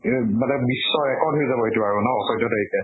ইব মানে বিশ্ব record হৈ যাব আইটো আৰু ন চৈধ্য় তাৰিখে